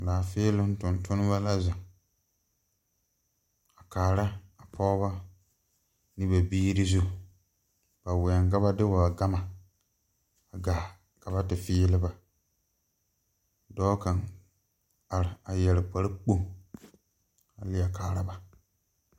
Laafēēloŋ tontonnema la zeŋ a kaara a pɔɔbɔ ne ba biire zu ba wɛŋ ka ba de ba gama a gaa ka ba te fēēle ba dɔɔ kaŋ are a yɛre kparepoŋ a lie kaara ba.